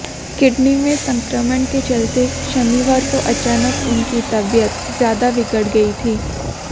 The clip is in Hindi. किडनी में संक्रमण के चलते शनिवार को अचानक उनकी तबीयत ज्यादा बिगड़ गई थी